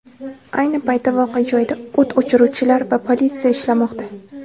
Ayni paytda voqea joyida o‘t o‘chiruvchilar va politsiya ishlamoqda.